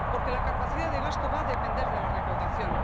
Porque la capacidad de gasto va a depender de la recaudación.